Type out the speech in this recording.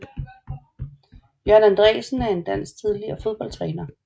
Jørgen Andreasen er en dansk tidligere fodboldstræner